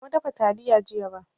Ban samu dafa taliya jiya ba